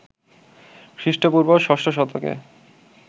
খ্রীষ্টপূর্ব ষষ্ঠ শতকে